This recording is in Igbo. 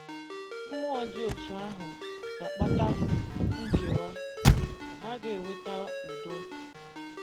Mmụọ dị otú ahụ ga - akpata nkewa; ọ gaghị eweta udo.